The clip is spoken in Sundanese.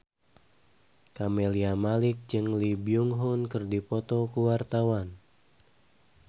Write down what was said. Camelia Malik jeung Lee Byung Hun keur dipoto ku wartawan